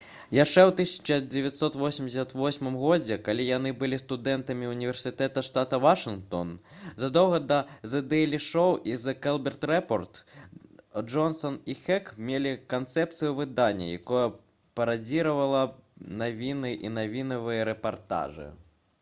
яшчэ ў 1988 годзе калі яны былі студэнтамі ўніверсітэта штата вашынгтон задоўга да «зэ дэйлі шоу» і «зэ колберт рэпорт» джонсан і хек мелі канцэпцыю выдання якое парадзіравала б навіны і навінавыя рэпартажы